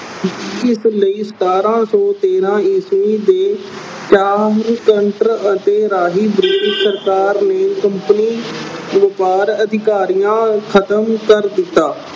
ਇਸ ਲਈ ਸਤਾਰਾਂ ਸੌ ਤੇਰਾਂ ਈਸਵੀ ਦੇ British ਸਰਕਾਰ ਨੇ ਕੰਪਨੀ ਵਪਾਰ ਅਧਿਕਾਰੀਆਂ ਖਤਮ ਕਰ ਦਿੱਤਾ।